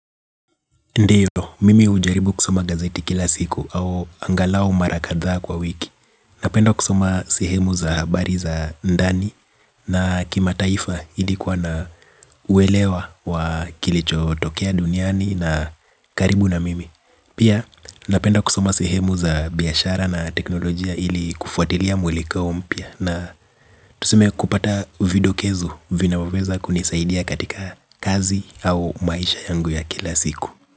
Ndio, mimi hujaribu kusoma gazeti kila siku. Au angalao mara kadhaa kwa wiki. Napenda kusoma sehemu za habari za ndani na kima taifa ilikuwa na uelewa wa kilicho tokea duniani na karibu na mimi. Pia, napenda kusoma sehemu za, biashara na teknolojia ili kufuatilia mwelekeo mpya na tuseme kupata, vidokezo vinaoweza kunisaidia katika, kazi au maisha yangu ya kila siku.